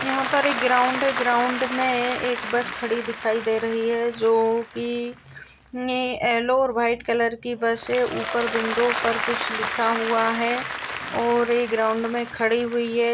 यहा पर एक ग्राउन्ड है ग्राउन्ड मै एक बस खड़ी दिखाई दे रही है जो की येलो ओर व्हाइट कलर की बस है ऊपर विंडो पर कुछ लिखा हुआ है ओर वे ग्राउन्ड मै खड़े हुई है।